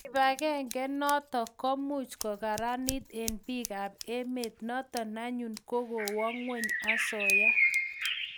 kipagenge notok ko much kokaranit eng piik ab emet notok anyun ko kowo ngweny asoya